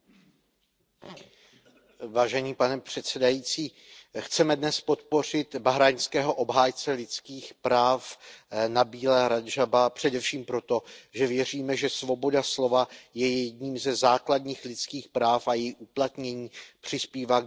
Pane předsedající, chceme dnes podpořit bahrajnského obhájce lidských práv Nabíla Radžába především proto, že věříme, že svoboda slova je jedním ze základních lidských práv a její uplatnění přispívá k dobrému fungování společnosti.